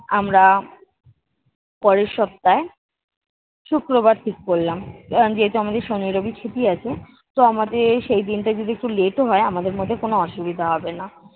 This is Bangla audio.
আমরা পরের সপ্তাহে শুক্রবার ঠিক করলাম, আহ যেহেতু আমাদের শনি রবি ছুটি আছে তো আমাদের সেই দিনটা যদি একটু late ও হয় আমাদের মধ্যে কোনো অসুবিধা হবে না।